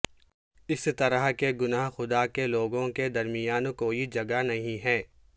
اس طرح کے گناہ خدا کے لوگوں کے درمیان کوئی جگہ نہیں ہیں